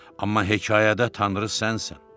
Amma hekayədə Tanrı sənsən.